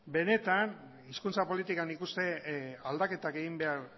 benetan hizkuntza politikan nik uste aldaketak egin behar